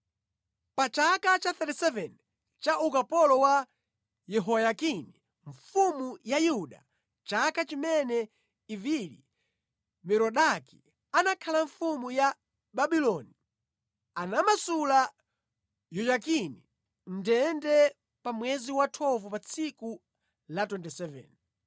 Pa chaka cha 37 cha ukapolo wa Yehoyakini mfumu ya Yuda, chaka chimene Evili-Merodaki anakhala mfumu ya Babuloni, anamasula Yehoyakini mʼndende pa mwezi wa 12 pa tsiku la 27.